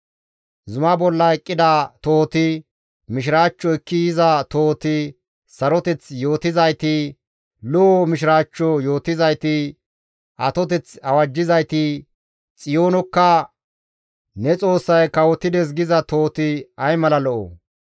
Zuma bolla eqqida tohoti, mishiraachcho ekki yiza tohoti, saroteth yootizayti, lo7o mishiraachcho yootizayti, atoteth awajjizayti, Xiyoonokka, «Ne Xoossay kawotides» giza tohoti ay mala lo7o!